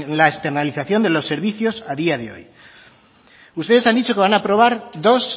la externalización de los servicios a día de hoy ustedes han dicho que van a aprobar dos